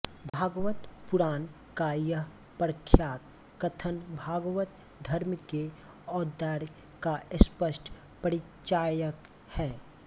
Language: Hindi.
भागवत पुराण का यह प्रख्यात कथन भागवत धर्म के औदार्य का स्पष्ट परिचायक है